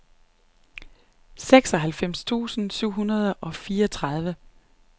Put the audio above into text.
seksoghalvfems tusind syv hundrede og fireogtredive